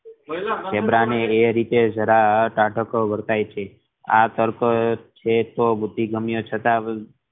zebra ને એ રીતે જરા અ તાકાત વર્તાય છે આ કારણ બુદ્ધિગમ્ય છતાં